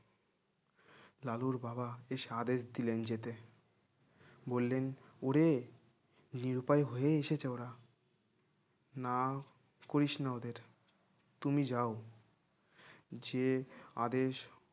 লালুর বাবা শেষে আদেশ দিলেন যেতে বললেন ওরে নিরুপায় হয়ে এসেছে ওরা না করিস না ওদের তুমি যাও যে আদেশ